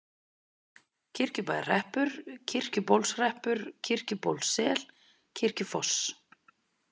Kirkjubæjarhreppur, Kirkjubólshreppur, Kirkjubólssel, Kirkjufoss